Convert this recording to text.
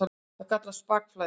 Þetta kallast bakflæði.